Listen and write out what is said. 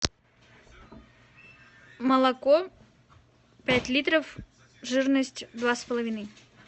молоко пять литров жирность два с половиной